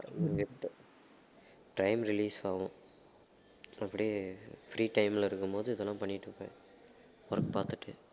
time release ஆவும் அப்படியே free time ல இருக்கும்போது இதெல்லாம் பண்ணிட்டு இருப்பேன் work பாத்துட்டு